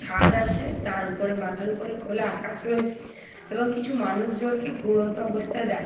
ছাদ আছে তার উপরে মাথার উপরে খোলা আকাশ রয়েছে এবং কিছু মানুষজনকে ঘুরন্ত অবস্থায় দেখা--